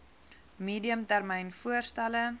medium termyn voorstelle